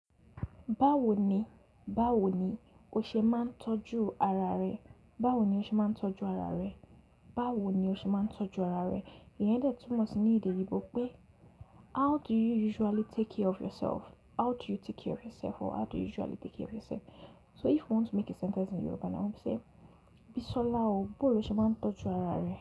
Báwo ni, báwo ni o ṣe máa ń tọ́jú ara rẹ? Báwo ni o ṣe máa ń tọ́jú ara rẹ? Báwo ni o ṣe máa ń tọ́jú ara rẹ? Yẹn dẹ́ túmọ̀ sí ní èdè ìgbò pé how do you usually take care of yourself? How do you take care of yourself? Or how do you usually take care of yourself? So if you want to make a sentence in Yoruba now, you say, Bisola o, bóòlo ṣe máa ń tọ́jú ara rẹ?